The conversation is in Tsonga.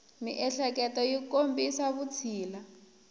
miehleketo yi kombisa vutshila